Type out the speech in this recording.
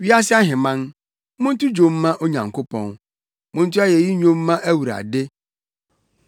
Wiase ahemman, monto dwom mma Onyankopɔn, monto ayeyi nnwom mma Awurade,